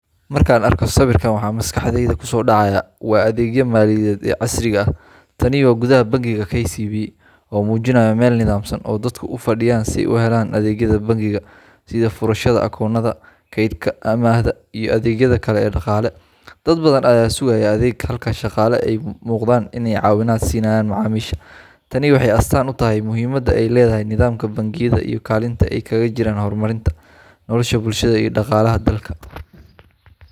Markaan arko sawirkan, waxa maskaxdayda kusoo dhacaya waa adeegyada maaliyadeed ee casriga ah. Tani waa gudaha bangiga KCB, oo muujinaya meel nidaamsan oo dadku u fadhiyaan si ay u helaan adeegyada bangiga sida furashada akoonnada, kaydka, amaahda, iyo adeegyada kale ee dhaqaale. Dad badan ayaa sugaya adeeg, halka shaqaale ay u muuqdaan inay caawinaad siinayaan macaamiisha. Tani waxay astaan u tahay muhiimadda ay leedahay nidaamka bangiyada iyo kaalinta ay kaga jiraan horumarinta nolosha bulshada iyo dhaqaalaha dalka.